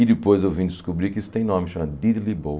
E depois eu vim descobrir que isso tem nome, chama Diddley Bow.